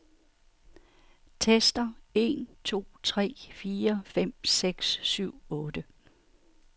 Tester en to tre fire fem seks syv otte.